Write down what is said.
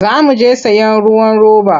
Za mu je sayen ruwan roba.